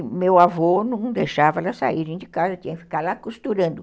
E meu avô não deixava elas saírem de casa, tinha que ficar lá costurando.